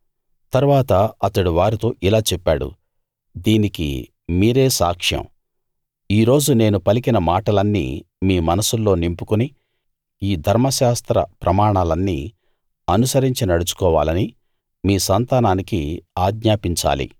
తరువాత అతడు వారితో ఇలా చెప్పాడు దీనికి మీరే సాక్ష్యం ఈ రోజు నేను పలికిన మాటలన్నీ మీ మనస్సుల్లో నింపుకుని ఈ ధర్మశాస్త్ర ప్రమాణాలన్నీ అనుసరించి నడుచుకోవాలని మీ సంతానానికి ఆజ్ఞాపించాలి